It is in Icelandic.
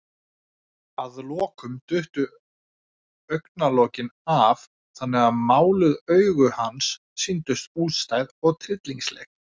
Að lokum duttu augnalokin af, þannig að máluð augu hans sýndust útstæð og tryllingsleg.